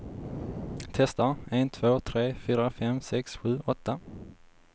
Testar en två tre fyra fem sex sju åtta.